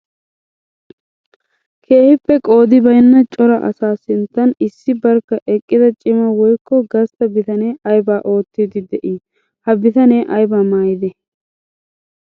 Keehippe qoodi baynna cora asaa sinttan issi barkka eqqidda cima woykko gastta bitane aybba oottidde de'i? Ha bitane aybba maayidde?